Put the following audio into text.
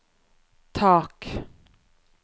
tak